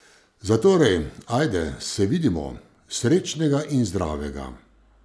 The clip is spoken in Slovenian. Zatorej, ajde, se vidimo, srečnega in zdravega!